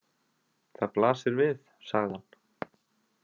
Það blasir við, sagði hann.